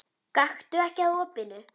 Gakktu ekki að opinu.